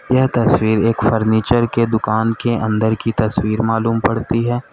यह तस्वीर एक फर्नीचर के दुकान के अंदर की तस्वीर मालूम पड़ती है।